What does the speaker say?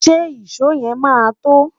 ṣé ìsọ yen má to?